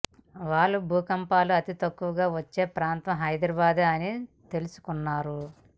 వాళ్లు భూకంపాలు అతి తక్కువగా వచ్చే ప్రాంతం హైదరాబాద్ అని తెలుసుకున్నారు